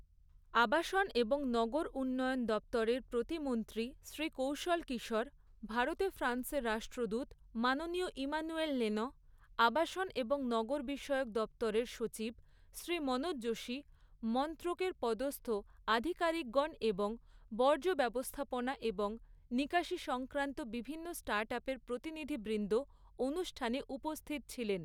আবাসন এবং নগর উন্নয়ন দপ্তরের প্রতিমন্ত্রী শ্রী কৌশল কিশোর, ভারতে ফ্রান্সের রাষ্ট্রদূত মাননীয় ইমানুয়েল লেনঁ, আবাসন এবং নগর বিষয়ক দপ্তরের সচিব শ্রী মনোজ যোশী, মন্ত্রকের পদস্থ আধিকারিকগণ এবং বর্জ্য ব্যবস্থাপনা এবং নিকাশী সংক্রান্ত বিভিন্ন স্টার্টআপের প্রতিনিধিবৃন্দ অনুষ্ঠানে উপস্থিত ছিলেন।